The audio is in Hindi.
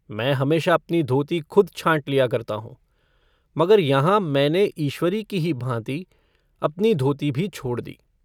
मैं हमेशा अपनी धोती खुद छाँट लिया करता हूँ मगर यहाँ मैंने ईश्वरी की ही भाँति अपनी धोती भी छोड़ दी।